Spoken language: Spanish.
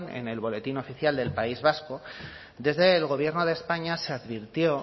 en el boletín oficial del país vasco desde el gobierno de españa se advirtió